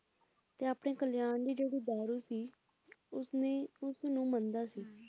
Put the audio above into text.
ਤੇ ਆਪਣੇ ਕਲਿਆਣ ਦੀ ਜਿਹੜੀ ਦਾਰੂ ਸੀ ਉਸਨੇ ਉਸਨੂੰ ਮੰਨਦਾ ਸੀ ਹੁੰ